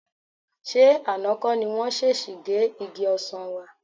Ṣé àná kọ́ ni wọ́n ṣèṣì gé igi ọsàn wa?